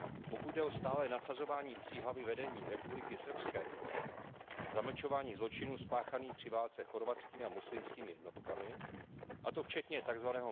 Pokud jde o stálé nasazování psí hlavy vedení Republiky srbské, zamlčování zločinů spáchaných při válce chorvatskými a muslimskými jednotkami, a to včetně tzv.